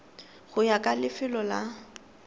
go ya ka lefelo la